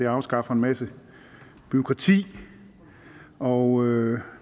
afskaffer en masse bureaukrati og